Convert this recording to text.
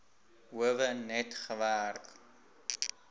howe net gewerk